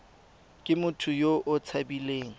ke motho yo o tshabileng